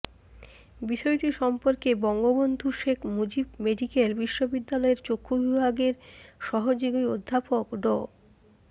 বিষয়টি সম্পর্কে বঙ্গবন্ধু শেখ মুজিব মেডিকেল বিশ্ববিদ্যালয়ের চক্ষু বিভাগের সহযোগী অধ্যাপক ডা